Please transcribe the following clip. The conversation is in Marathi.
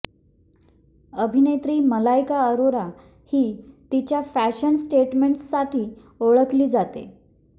अभिनेत्री मलायका अरोरा ही तिच्या फॅशन स्टेटमेंटसाठी ओळखली जाते